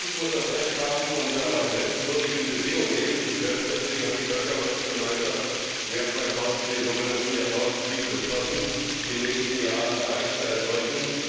Jeder Mensch muss das Recht haben, unter menschenwürdigen Bedingungen leben zu können. Deswegen hat die Völkergemeinschaft im Jahr 2000 die sogenannten Jahrtausendziele beschlossen, die im nächsten Jahr erreicht sein sollten.